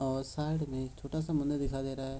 और साइड में एक छोटा-सा मंदिर दिखाई दे रहा है।